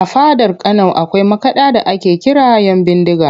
A fadar Kano akwai makaɗa da ake kira ‘Yanbindiga